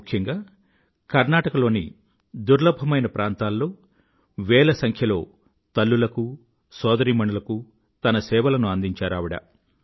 ముఖ్యంగా కర్ణాటకలోని దుర్లభమైన ప్రాంతాల్లో వేల సంఖ్యలో తల్లులకు సోదరీమణులకూ తన సేవలను అందించారు ఆవిడ